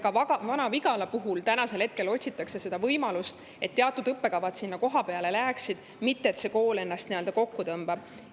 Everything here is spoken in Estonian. Ka Vana-Vigala jaoks otsitakse seda võimalust, et teatud õppekavad sinna kohapeale jääksid, mitte et see kool ennast nii-öelda kokku tõmbaks.